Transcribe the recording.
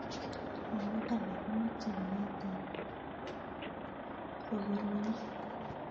Lakok alak komeche baet ab rokoronik.